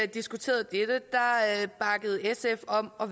diskuterede dette bakkede sf op om at